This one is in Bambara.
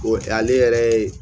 O tɛ ale yɛrɛ ye